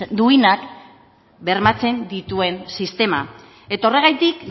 duinak bermatzen dituen sistema eta horregatik